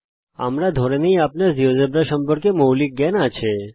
আমরা ধরে নেই যে আপনার জীয়োজেব্রা সম্পর্কে মৌলিক জ্ঞান আছে